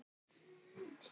Inní draum.